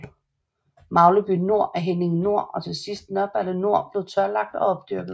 Magleby Nor og Henninge Nor og til sidst Nørreballe Nor blev tørlagt og opdyrket